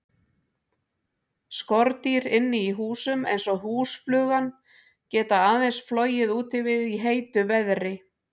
Skordýr inni í húsum, eins og húsflugan, geta aðeins flogið úti við í heitu veðri.